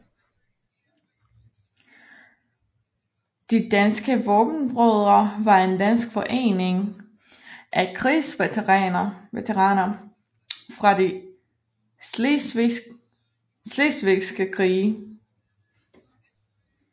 De danske Vaabenbrødre var en dansk forening af krigsveteraner fra de slesvigske krige